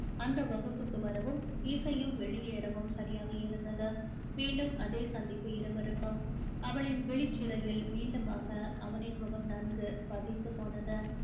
அந்த வகுப்புக்கு வரவும் இசையும் வெளியேறவும் சரியாக இருந்தது மீண்டும் அதே சந்திப்பு இருவருக்கும் அவளின் விழிச்சிறையில் மீண்டுமாக அவனின் முகம் நன்கு பதிந்து போனது